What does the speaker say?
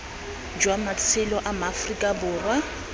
jwa matshelo a maaforika borwa